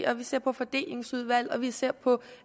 og vi ser på fordelingsudvalg og vi ser på